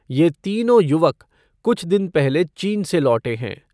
ये तीनों युवक कुछ दिन पहले चीन से लौटे हैं।